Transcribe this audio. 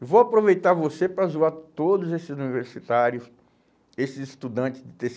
Eu vou aproveitar você para zoar todos esses universitários, esses estudantes do tê cê